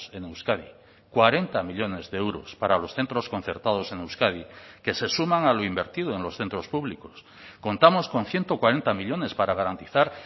en euskadi cuarenta millónes de euros para los centros concertados en euskadi que se suman a lo invertido en los centros públicos contamos con ciento cuarenta millónes para garantizar